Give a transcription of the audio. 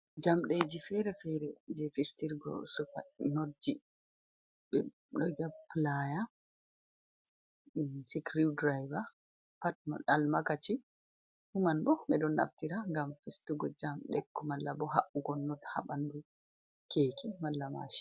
Jamɗeji fere-fere je fistir go supa notji, be playa, cikriw driver, pat almakaci fu man bo ɓe ɗo naftira ngam fistugo jamɗe ko malla bo haɓɓugo nod ha ɓanɗu keke mala mashin.